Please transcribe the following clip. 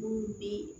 N'u bi